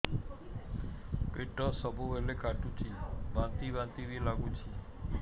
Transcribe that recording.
ପେଟ ସବୁବେଳେ କାଟୁଚି ବାନ୍ତି ବାନ୍ତି ବି ଲାଗୁଛି